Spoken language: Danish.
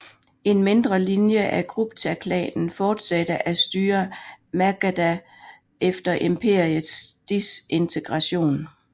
En mindre linje af Guptaklanen fortsatte at styre Magadha efter imperiets desintegration